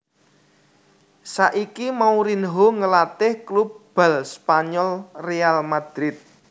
Saiki Mourinho ngelatih klub bal Spanyol Real Madrid